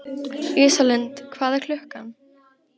Ísalind, hvað er klukkan?